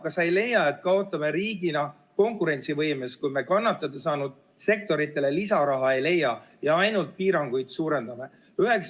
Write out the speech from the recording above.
Kas sa ei leia, et me kaotame riigina konkurentsivõimes, kui me kannatada saanud sektoritele lisaraha ei leia ja ainult piiranguid suurendame?